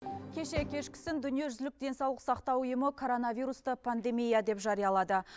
кеше кешкісін дүниежүзілік денсаулық сақтау ұйымы коронавирусты пандемия деп жариялады